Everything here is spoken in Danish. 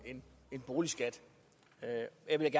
med